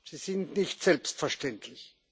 sie sind nicht selbstverständlich.